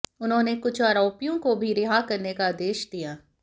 उन्होंने कुछ आरोपियों को भी रिहा करने का आदेश दिया